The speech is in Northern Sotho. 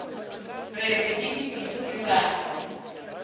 re re ke dipitsi ra